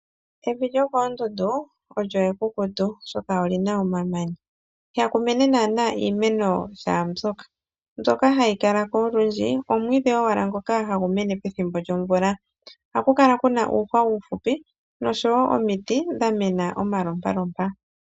Evi lyokoondundu olyo ekukutu, oshoka oli na omamanya. Ihaku mene naana iimeno shaa mbyoka. Mbyoka hayi kala ko olundji omwiidhi wala ngoka hagu mene pethimbo lyomvula. Ohaku kala kuna uuhwa uuhupi noshowo omiti dha mena omalompalompa.